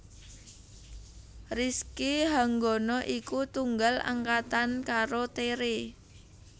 Rizky Hanggono iku tunggal angkatan karo Tere